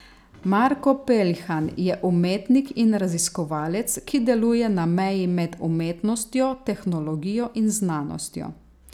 Marko Peljhan je umetnik in raziskovalec, ki deluje na meji med umetnostjo, tehnologijo in znanostjo.